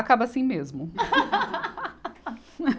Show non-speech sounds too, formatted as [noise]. Acaba assim mesmo. [laughs]